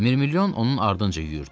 Mirmilyon onun ardınca yüyürdü.